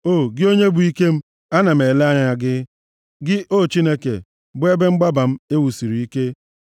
O, gị onye bụ ike m, ana m ele anya gị; gị, o Chineke, bụ ebe mgbaba m e wusiri ike.